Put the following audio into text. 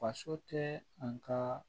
Faso tɛ an ka